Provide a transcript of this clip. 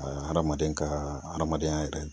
hadamaden kaa hadamadenya yɛrɛ